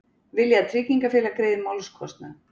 Vilja að tryggingafélag greiði málskostnað